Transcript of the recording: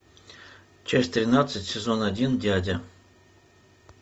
часть тринадцать сезон один дядя